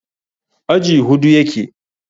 aji Hudu yake